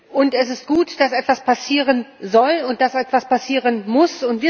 Und es ist gut, dass etwas passieren soll und dass etwas passieren muss.